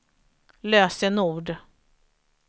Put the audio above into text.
lösenord